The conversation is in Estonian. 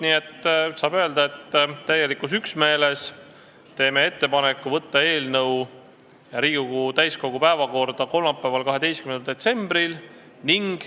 Nii et saab öelda, et tegime täielikus üksmeeles ettepaneku saata eelnõu Riigikogu täiskogu päevakorda kolmapäevaks, 12. detsembriks.